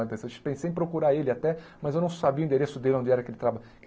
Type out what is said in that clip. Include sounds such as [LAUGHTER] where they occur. [UNINTELLIGIBLE] pensei em procurar ele até, mas eu não sabia o endereço dele, onde era que ele